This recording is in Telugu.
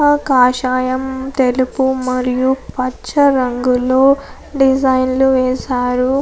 ఆ కాషాయం తెలుపు మరియు పచ్చ రంగులు డిజైన్లు వేశారు.